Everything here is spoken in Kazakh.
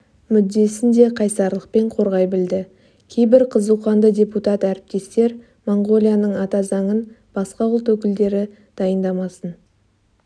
мүддесін де қайсарлықпен қорғай білді кейбір қызуқанды депутат әріптестер моңғолияның атазаңын басқа ұлт өкілдері дайындамасын